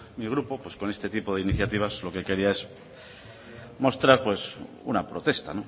mi grupo pues con este tipo de iniciativas lo que quería es mostrar una protesta